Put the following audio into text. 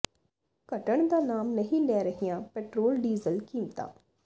ਘਟਣ ਦਾ ਨਾਮ ਨਹੀਂ ਲੈ ਰਹੀਆਂ ਪੈਟਰੋਲ ਡੀਜ਼ਲ ਕੀਮਤਾਂ